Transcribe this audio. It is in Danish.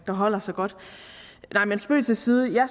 der holder sig godt men spøg til side